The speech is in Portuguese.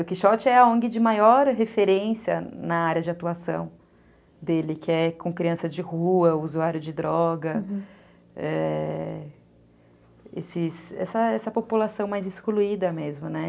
O Quixote é a ongue de maior referência na área de atuação dele, que é com criança de rua, usuário de droga, é... esses, essa população mais excluída mesmo, né?